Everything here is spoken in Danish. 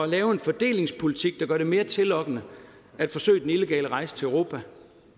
lave en fordelingspolitik der gør det mere tillokkende at forsøge den illegale rejse til europa